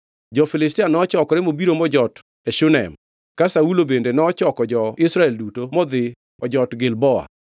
Jo-Filistia nochokore mobiro mojot e Shunem, ka Saulo bende nochoko jo-Israel duto modhi ojot Gilboa.